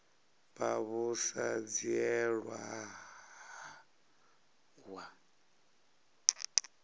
vha vhu sa dzhielwi nha